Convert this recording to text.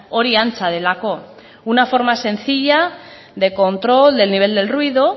hori antza delako una forma sencilla de control del nivel del ruido